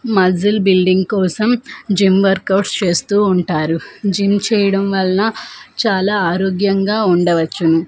Muscle building కోసం gym workouts చేస్తూ ఉంటారు జిమ్ చేయడం వలన చాలా ఆరోగ్యంగా ఉండవచ్చును.